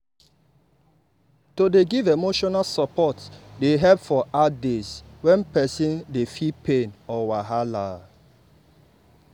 to dey give emotional support dey help for hard days when person dey feel pain or wahala.